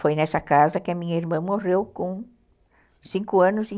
Foi nessa casa que a minha irmã morreu com cinco e